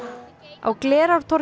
á Glerártorgi